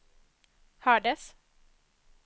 hördes